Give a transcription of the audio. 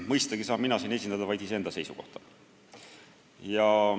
Mõistagi saan mina siin esindada vaid iseenda seisukohta.